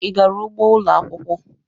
Ị gara ugbo ụlọ akwụkwọ.